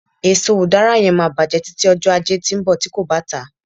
eso udara yen ma bajẹ tıti ọjọ aje ti nbọ ti ko ba ta